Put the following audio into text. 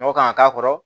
Nɔgɔ kan ka k'a kɔrɔ